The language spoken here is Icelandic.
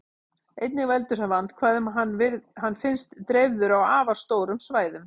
Einnig veldur það vandkvæðum að hann finnst dreifður á afar stórum svæðum.